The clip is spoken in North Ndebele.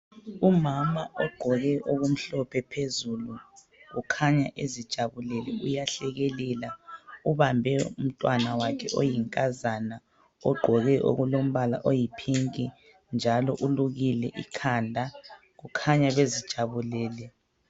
Umama ogqoke okumhlophe phezulu ukhanya ezijabulele uyahlekelela ubambe umntwana wakhe oyinkazana ongqoke okulombala oyipink njalo ulukile ikhanda ukhanya bezijabulele